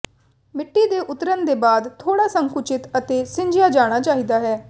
ਮਿੱਟੀ ਦੇ ਉਤਰਨ ਦੇ ਬਾਅਦ ਥੋੜ੍ਹਾ ਸੰਕੁਚਿਤ ਅਤੇ ਸਿੰਜਿਆ ਜਾਣਾ ਚਾਹੀਦਾ ਹੈ